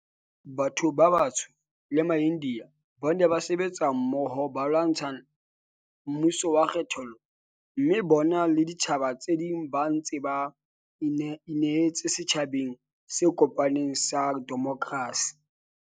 Batho ba batsho le maIndiya ba ne ba sebetsa mmoho ba lwantsha mmuso wa kgethollo, mme bona le ditjhaba tse ding ba ntse ba inehetse setjhabeng se kopaneng sa demokrasi.